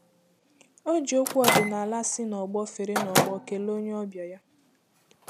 O ji okwu ọdịnala si na ọgbọ fere na ọgbọ kelee onye ọbịa ya.